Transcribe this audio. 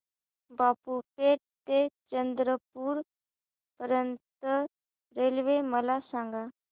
बाबूपेठ ते चंद्रपूर पर्यंत रेल्वे मला सांगा